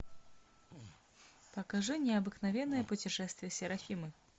покажи необыкновенное путешествие серафимы